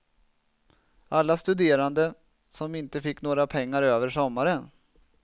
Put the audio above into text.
Alla studerande som inte fick några pengar över sommaren.